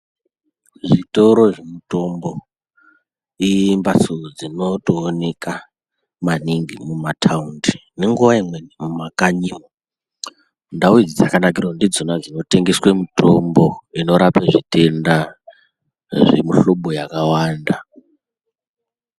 Zvitoro zvemutombo imbatso dzinotooneka maningi mumataundi ngenguwa imweni mumakanyimwo , ndau idzi dzakanakire kuti ndidzona dzinotengeswe mitombo inorape zvitenda zvemuhlobo yakawanda.